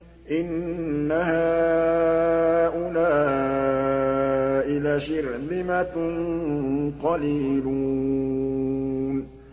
إِنَّ هَٰؤُلَاءِ لَشِرْذِمَةٌ قَلِيلُونَ